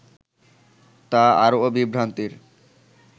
তা আরও বিভ্রান্তির